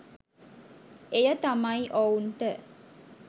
එය තමයි ඔවුන්ට